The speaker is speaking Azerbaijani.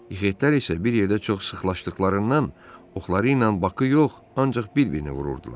İxitlər isə bir yerdə çox sıxlaşdıqlarından oxları ilə Bakı yox, ancaq bir-birini vururdular.